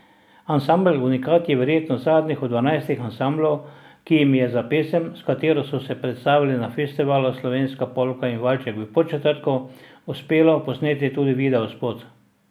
Ansambel Unikat je verjetno zadnji od dvanajstih ansamblov, ki jim je za pesem, s katero so se predstavili na festivalu Slovenska polka in valček v Podčetrtku, uspelo posneti tudi videospot.